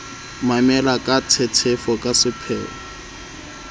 mamela ka tshetshefo ka sepheo